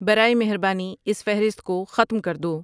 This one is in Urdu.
برائے مہربانی اس فہرست کو ختم کر دو